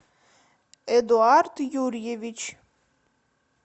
эдуард юрьевич